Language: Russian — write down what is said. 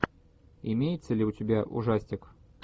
имеется ли у тебя ужастик